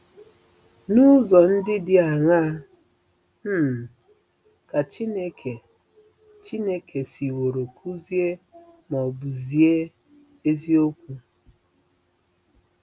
N’ụzọ ndị dị aṅaa um ka Chineke Chineke siworo kụzie ma ọ bụ zie eziokwu?